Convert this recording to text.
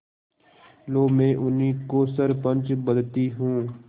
लो मैं उन्हीं को सरपंच बदती हूँ